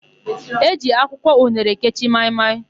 E ji akwụkwọ unere ekechi maị-maị.